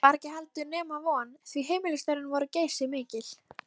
Það var heldur ekki nema von, því heimilisstörfin voru geysimikil.